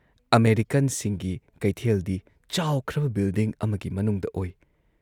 ꯑꯃꯦꯔꯤꯀꯥꯟꯁꯤꯡꯒꯤ ꯀꯩꯊꯦꯜꯗꯤ ꯆꯥꯎꯈ꯭ꯔꯕ ꯕꯤꯜꯗꯤꯡ ꯑꯃꯒꯤ ꯃꯅꯨꯡꯗ ꯑꯣꯏ ꯫